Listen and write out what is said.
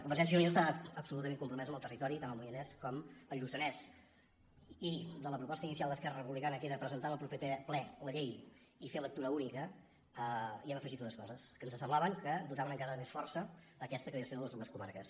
convergència i unió està absolutament compromesa amb el territori tant el moianès com el lluçanès i a la proposta inicial d’esquerra republicana que era presentar en el proper ple la llei i fer lectura única hi hem afegit unes coses que ens semblava que dotaven encara de més força aquesta creació de les dues comarques